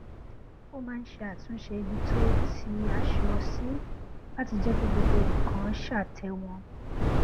ó máa ń ṣe àtúnṣe ibi tí ó tì aṣọ sí láti jẹ kí gbogbo nnkan ṣàtẹwọn